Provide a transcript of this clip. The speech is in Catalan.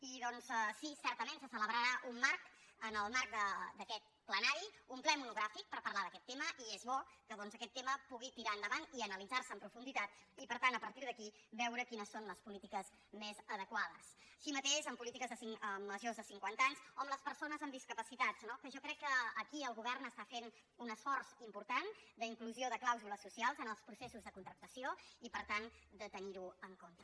i doncs sí certament se celebrarà un marc en el marc d’aquest plenari un ple monogràfic per parlar d’aquest tema i és bo que doncs aquest tema pugui tirar endavant i analitzar se amb profunditat i per tant a partir d’aquí veure quines són les polítiques més adequades així mateix en polítiques en majors de cinquanta anys o en les persones amb discapacitats no que jo crec que aquí el govern està fent un esforç important d’inclusió de clàusules socials en els processos de contractació i per tant de tenir ho en compte